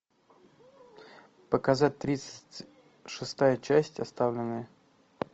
показать тридцать шестая часть оставленные